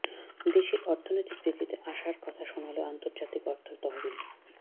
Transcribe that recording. দেশের অর্থনৈতিক বৃদ্ধিতে আশার কথা শোনাল আন্তর্জাতিক অর্থ তহবিল